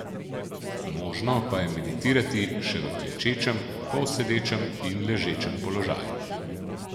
Možno pa je meditirati še v klečečem, polsedečem in ležečem položaju.